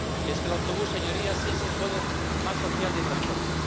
Y es que el autobús, señorías, es el modo más social de transporte.